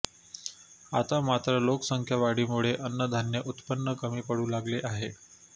आता मात्र लोकसंख्या वाढीमुळे अन्नधान्य उत्पन कमी पडू लागले आहे